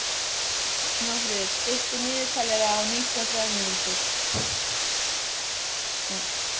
Snjófríður, stilltu niðurteljara á níutíu og þrjár mínútur.